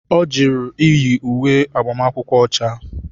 Ọ jụrụ iyi uwe agbamakwụkwọ ọcha.